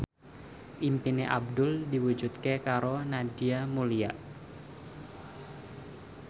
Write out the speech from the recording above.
impine Abdul diwujudke karo Nadia Mulya